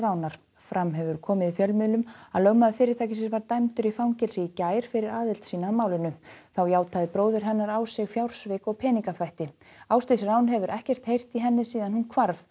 fram hefur komið í fjölmiðlum að lögmaður fyrirtækisins var dæmdur í fangelsi í gær fyrir aðild sína að málinu þá játaði bróðir hennar á sig fjársvik og peningaþvætti Ásdís hefur ekkert heyrt í henni síðan hún hvarf